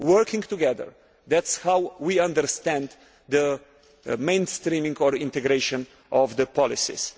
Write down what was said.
Working together that is how we understand the mainstreaming or integration of policies.